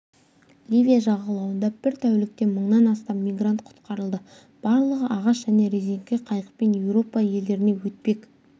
ливия жағалауында бір тәулікте мыңнан астам мигрант құтқарылды барлығы ағаш және резеңке қайықпен еуропа елдеріне өтпек